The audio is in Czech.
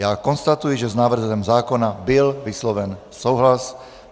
Já konstatuji, že s návrhem zákona byl vysloven souhlas.